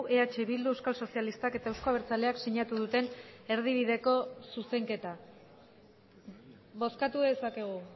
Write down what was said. eh bildu euskal sozialistak eta euzko abertzaleak sinatu duten erdibideko zuzenketa bozkatu dezakegu